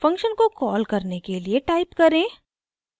function को call करने के लिए टाइप करें: